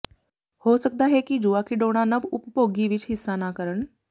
ਹੋ ਸਕਦਾ ਹੈ ਕਿ ਜੂਆ ਖਿਡੌਣਾ ਨਵ ਉਪਭੋਗੀ ਵਿਚ ਹਿੱਸਾ ਨਾ ਕਰਨ